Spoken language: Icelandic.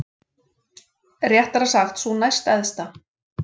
Réttara sagt sú næstæðsta.